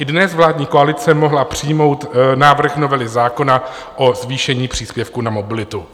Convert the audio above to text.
I dnes vládní koalice mohla přijmout návrh novely zákona o zvýšení příspěvku na mobilitu.